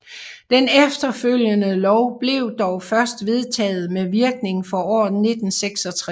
Den efterfølgende lov blev dog først vedtaget med virkning for året 1966